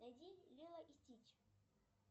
найди лило и стич